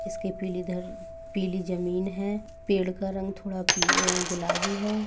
इस के पिलीधर पीली जमीन हैं पेड़ का रंग थोड़ा पि अ गुलाबी हैं।